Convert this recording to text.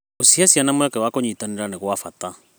Gũcihe ciana mweke wa kũnyitanĩra nĩ gwa bata.